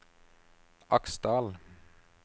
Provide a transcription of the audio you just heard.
Aksdal